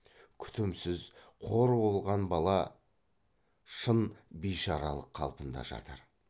күтімсіз қор болған бала шын бишаралық қалпында жатыр